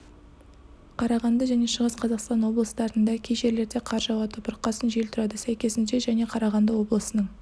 қарағанды және шығыс қазақстан облыстарында кей жерлерде қар жауады бұрқасын жел тұрады сәйкесінше және қарағанды облысының